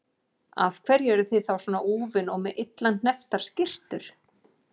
Af hverju eruð þið þá svona úfin og með illa hnepptar skyrtur?